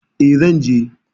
E, zan je.